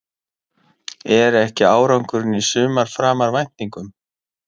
Er ekki árangurinn í sumar framar væntingum?